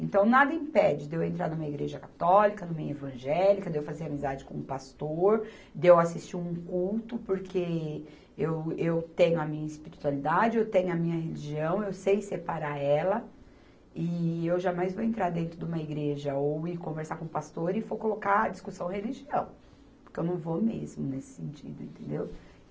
Então, nada impede de eu entrar numa igreja católica, numa evangélica, de eu fazer amizade com um pastor, de eu assistir um culto, porque eu, eu tenho a minha espiritualidade, eu tenho a minha religião, eu sei separar ela, e eu jamais vou entrar dentro de uma igreja ou ir conversar com um pastor e for colocar a discussão religião, porque eu não vou mesmo nesse sentido, entendeu?